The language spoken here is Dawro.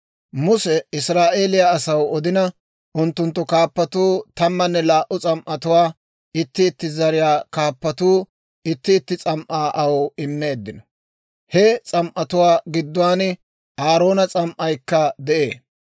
Muse Israa'eeliyaa asaw odina, unttunttu kaappatuu tammanne laa"u s'am"atuwaa, itti itti zariyaa kaappatuu itti itti s'am"aa aw immeeddino. He s'am"atuwaa gidduwaan Aaroona s'am"aykka de'ee.